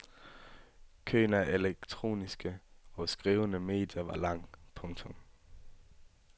Køen af elektroniske og skrivende medier var lang. punktum